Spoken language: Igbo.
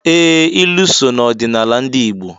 Ee! Ilu so n'ọdịnala ndị Igbo.